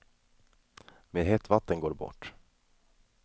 Med hett vatten går det bort.